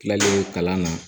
Tilalen kalan na